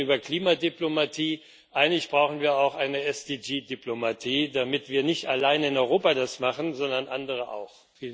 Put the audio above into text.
Wir reden über Klimadiplomatie, eigentlich brauchen wir auch eine SDG Diplomatie, damit wir nicht allein in Europa das machen, sondern andere auch.